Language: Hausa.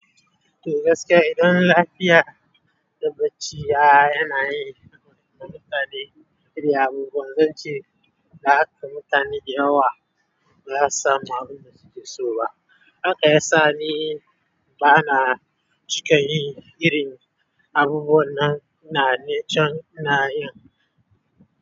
To gaskiya idan lafiya da bacci ya yana yi na mutane iri abubuwan zance da haka mutane da yawa bazasu samu abunda suke so ba. Haka ya sa ni bana cika yi irin abubuwan nan na nen can na yin.